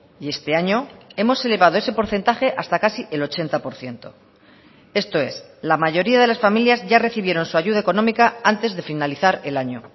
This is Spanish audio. y este año hemos elevado ese porcentaje hasta casi el ochenta por ciento esto es la mayoría de las familias ya recibieron su ayuda económica antes de finalizar el año